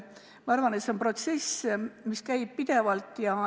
Ma arvan, et see on protsess, mis käib pidevalt.